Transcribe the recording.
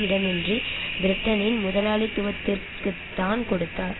இடமின்றி பிரிட்டனின் முதலாளித்துவத்திற்குத்தான் கொடுத்தார்